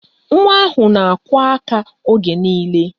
Nwa ahụ na-akụ aka oge niile